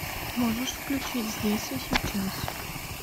можешь включить здесь и сейчас